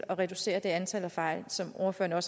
og reducere antallet af fejl som ordføreren